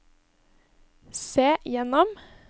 se gjennom